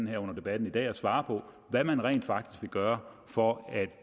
her under debatten i dag og svarer på hvad man rent faktisk vil gøre for at